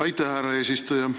Aitäh, härra eesistuja!